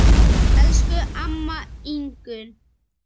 Elsku amma Ingunn.